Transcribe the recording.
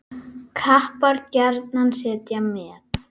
Kappar gjarnan setja met.